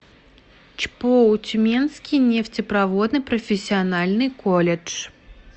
чпоу тюменский нефтепроводный профессиональный колледж